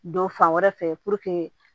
Don fan wɛrɛ fɛ